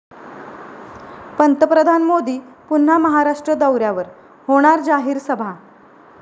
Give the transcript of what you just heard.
पंतप्रधान मोदी पुन्हा महाराष्ट्र दौऱ्यावर, होणार जाहीर सभा